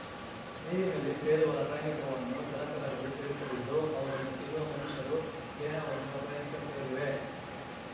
ನೀರಿನಲ್ಲಿ ಸೇರುವ ರಾಸಾಯನಿಕವನ್ನು ಜಲಚರಗಳು ಸೇವಿಸಲಿದ್ದು ಅವುಗಳನ್ನು ತಿನ್ನುವ ಮನುಷ್ಯರು ದೇಹವನ್ನು ರಾಸಾಯನಿಕ ಸೇರಲಿವೆ